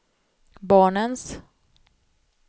barnens